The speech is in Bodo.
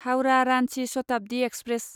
हाउरा रान्चि शताब्दि एक्सप्रेस